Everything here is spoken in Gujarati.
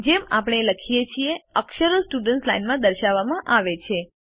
જેમ આપણે લખીએ છીએ અક્ષરો સ્ટુડન્ટ્સ લાઇન માં દર્શાવવામાં આવે છે